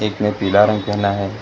उसने पीला रंग पहना है।